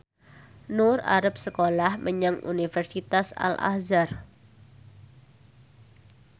Nur arep sekolah menyang Universitas Al Azhar